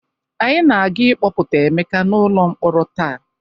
Anyị ga-aga ịkpọpụta Emeka n'ụlọ mkpọrọ taa.